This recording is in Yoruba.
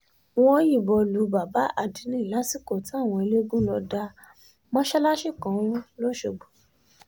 wọ́n yìnbọn lu bàbá adinni lásìkò táwọn eléégún lọ́ọ́ da mọ́sálásì kan rú lọ́ṣọ́gbó